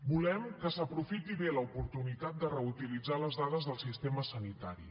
volem que s’aprofiti bé l’oportunitat de reutilitzar les dades del sistema sanitari